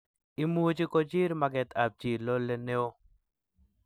imuchi kochir makatekab chii lole neoo